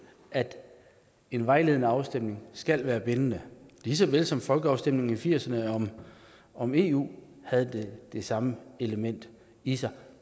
at en vejledende afstemning skal være bindende lige så vel som folkeafstemningerne i nitten firserne om eu havde det samme element i sig